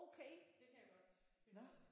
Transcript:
Okay! Nåh